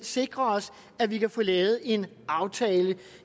sikre os at vi kan få lavet en aftale